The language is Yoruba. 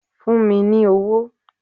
Fún mi ní owó!